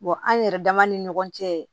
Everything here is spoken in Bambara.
an yɛrɛ dama ni ɲɔgɔn cɛ